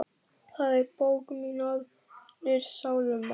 Það er bók mín Aðrir sálmar.